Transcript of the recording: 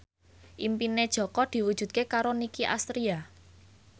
impine Jaka diwujudke karo Nicky Astria